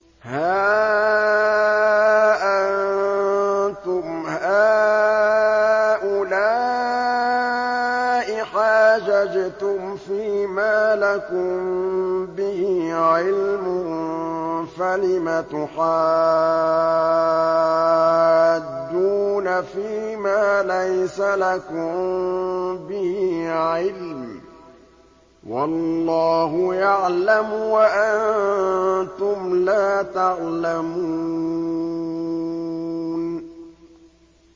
هَا أَنتُمْ هَٰؤُلَاءِ حَاجَجْتُمْ فِيمَا لَكُم بِهِ عِلْمٌ فَلِمَ تُحَاجُّونَ فِيمَا لَيْسَ لَكُم بِهِ عِلْمٌ ۚ وَاللَّهُ يَعْلَمُ وَأَنتُمْ لَا تَعْلَمُونَ